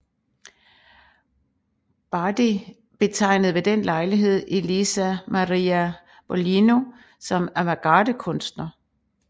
Bardi betegnede ved den lejlighed Elisa Maria Boglino som avantgardekunstner